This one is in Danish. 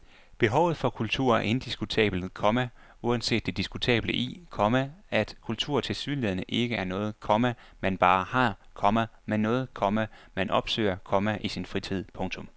Behovet for kultur er indiskutabelt, komma uanset det diskutable i, komma at kultur tilsyneladende ikke er noget, komma man bare har, komma men noget, komma man opsøger, komma i sin fritid. punktum